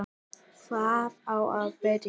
Hvar á að byrja?